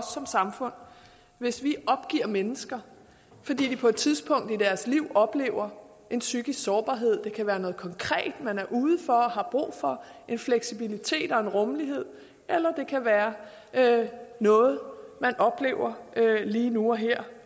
som samfund hvis vi opgiver mennesker fordi de på et tidspunkt i deres liv oplever en psykisk sårbarhed det kan være noget konkret man er ude for og har brug for fleksibilitet og rummelighed eller det kan være noget man oplever lige nu og her